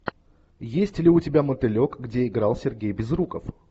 есть ли у тебя мотылек где играл сергей безруков